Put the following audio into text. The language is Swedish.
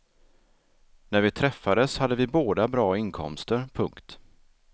När vi träffades hade vi båda bra inkomster. punkt